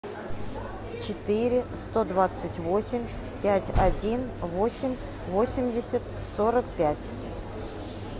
четыре сто двадцать восемь пять один восемь восемьдесят сорок пять